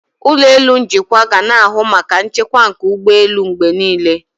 Ụlọ elu njikwa ga na-ahụ maka nchekwa nke ụgbọelu mgbe niile.